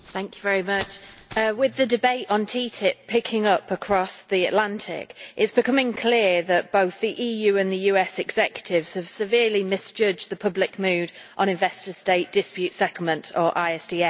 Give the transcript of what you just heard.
Mr President, with the debate on TTIP picking up across the Atlantic, it is becoming clear that both the EU and the US executives have severely misjudged the public mood on Investor State Dispute Settlement or ISDS.